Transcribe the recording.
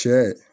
Cɛ